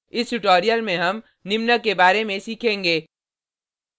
इस ट्यूटोरियल में हम निम्न के बारे में सीखेंगे